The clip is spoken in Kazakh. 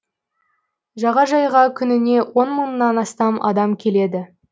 жағажайға күніне он мыңнан астам адам келеді